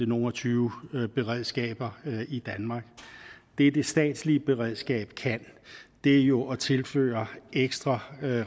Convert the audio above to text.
nogle og tyve beredskaber i danmark det det statslige beredskab kan er jo at tilføre ekstra